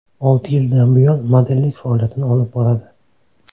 Olti yildan buyon modellik faoliyatini olib boradi.